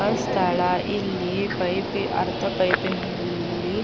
ಅ ಸ್ಥಳ ಇಲ್ಲಿ ಪೈಪ್ ಅರ್ಧ ಪೈಪಿನಲ್ಲಿ --